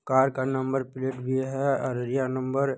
Car का number plate भी है अररिया नंबर ।